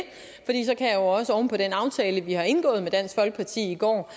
her også oven på den aftale vi har indgået med dansk folkeparti i går